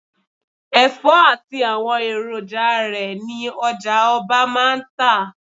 Ẹ̀fọ́ àti àwọn èròjà rẹ ni ọjà-ọba máa ń tà.